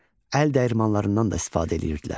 Əl dəyirmanlarından da istifadə eləyirdilər.